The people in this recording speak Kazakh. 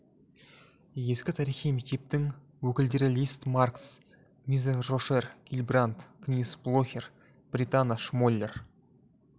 ескі тарихи мектептің өкілдері лист маркс мизец рошер гильбранд книс блохер бретана шмоллер